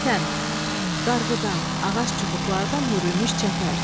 Çətən, qarğıdan, ağac çubuqlardan hörülmüş çəpər.